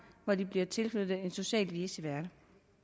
når der bliver tilknyttet en social vicevært